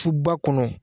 Suba kɔnɔ